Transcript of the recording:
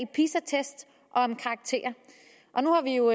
om karakterer og nu har vi jo